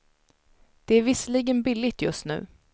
Det är visserligen billigt just nu.